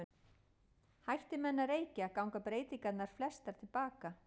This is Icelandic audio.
Hætti menn að reykja ganga breytingarnar flestar til baka.